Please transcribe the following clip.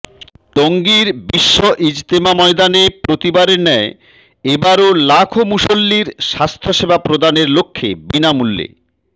টঙ্গীর বিশ্ব ইজতেমা ময়দানে প্রতিবারের ন্যায় এবারো লাখো মুসল্লীর স্বাস্থ্যসেবা প্রদানের লক্ষ্যে বিনামূল্যে